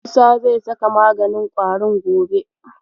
Musa zai saka maganin ƙwarin gobe.